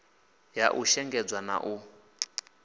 ya u shengedzwa na u